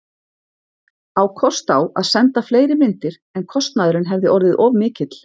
Á kost á að senda fleiri myndir, en kostnaðurinn hefði orðið of mikill.